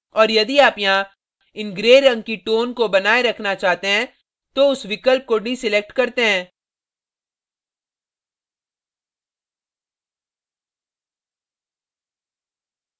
और यदि आप यहाँ इन gray रंग की tones को बनाए रखना चाहते हैं तो उस विकल्प को डीdeselect करते हैं